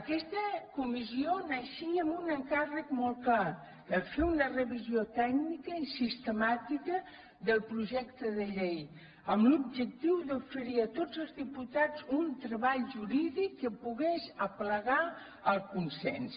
aquesta comissió naixia amb un encàrrec molt clar fer una revisió tècnica i sistemàtica del projecte de llei amb l’objectiu d’oferir a tots els diputats un treball jurídic que pogués aplegar el consens